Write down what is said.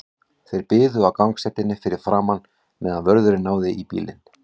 Þeir biðu á gangstéttinni fyrir framan, meðan vörðurinn náði í bílinn.